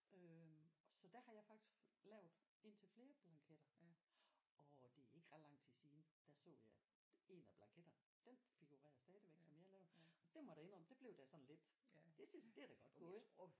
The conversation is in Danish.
Øh så der har jeg faktisk lavet en til flere blanketter og det er ikke ret lang tid siden der så jeg en af blanketterne den figurerer stadigvæk som jeg har lavet der det må jeg da indrømme der blev jeg sådan lidt det synes det er da godt gået